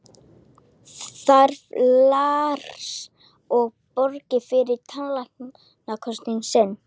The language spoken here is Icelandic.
Þarf Lars að borga fyrir tannlæknakostnað sinn?